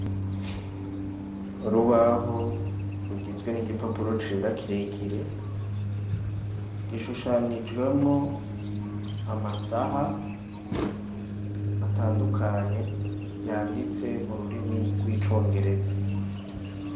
Urubaho rugizwe n'igipapuro cera kirekire gishushanijwemwo amasaha atandukanye yanditse mu rurimi rw'icongereza.